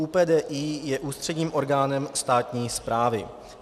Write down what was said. ÚPDI je ústředním orgánem státní správy.